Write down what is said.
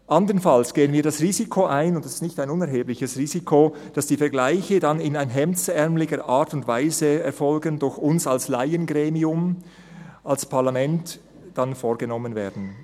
Andernfalls gehen wir das Risiko ein – und das ist kein unerhebliches Risiko –, dass die Vergleiche dann in einer hemdsärmeligen Art und Weise durch uns als Laiengremium, als Parlament, vorgenommen werden.